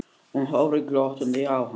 Hún horfir glottandi á hann.